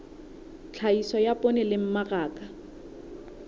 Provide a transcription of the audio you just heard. tlhahiso ya poone le mmaraka